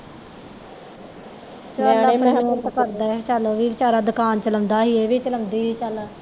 ਨਿਆਣੇ ਪਤਾ ਨਹੀਂ ਓਹਦੇ ਚੱਲ ਉਹ ਵੀ ਵਿਚਾਰਾ ਦੁਕਾਨ ਚਲਾਉਂਦਾ ਸੀ ਇਹ ਵੀ ਚਲਾਉਂਦੀ ਸੀ ਚੱਲ